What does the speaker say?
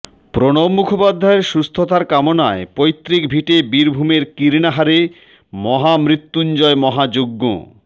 প্রণব মুখোপাধ্যায়ের সুস্থতা কামানায় পৈতৃক ভিটে বীরভূমের কীর্নাহারে মহামত্যুঞ্জয় মহাযজ্ঞ